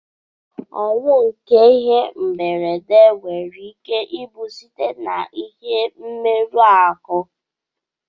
Ọnwụ nke ihe mberede nwere ike ibu site na ihe mmerụ arụ.